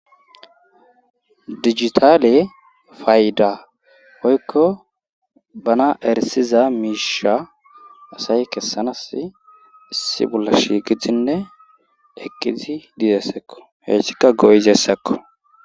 digitaale fayda oykko bana erisiza miisha asay kessanas issi bolla shiqidinne eqidi dizessekko heyssika goyizessekko